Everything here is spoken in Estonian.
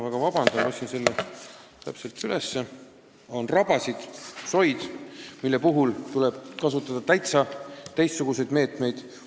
On rabasid ja soid, mille puhul tuleb kasutada täitsa teistsuguseid meetodeid.